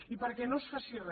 i perquè no es faci re